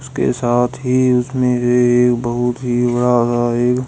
उसके साथ ही उसमें ये एक बहुत ही बड़ा सा एक--